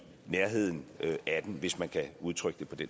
nærheden af den hvis man kan udtrykke det